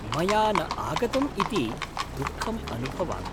मया न आगतम् इति दुःखम् अनुभवामि।